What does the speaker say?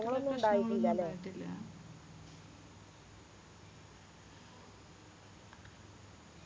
പ്രശ്നോന്നും ഉണ്ടായിട്ടില്ല